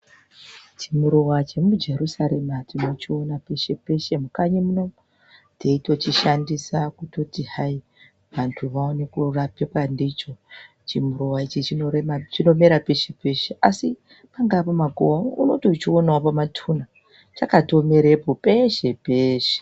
Chimuruwa chemujerusarema tinochiona peshe peshe mukanyi muno teitochishandisa kutoti anthu aone kurapika ndicho. Chimuruwa ichi chinomera peshe peshe, asi pangaa pamakuwa unokona kutochionawo pamatunha, chatomera peshe peshe.